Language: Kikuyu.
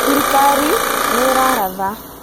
thirikaari nĩ ĩraratha